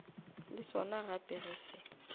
le sona gape ge se